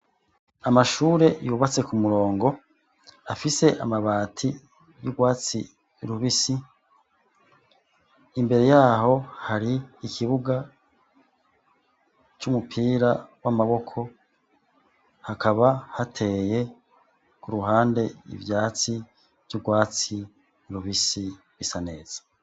Amashure yubatse ku murongo afise amabati yurwatsi rubisi, imbere yaho hari ikibuga c'umupira w’amaboko, hakaba hateye kuruhande ivyatsi vyurwatsi rubisi bisa neza.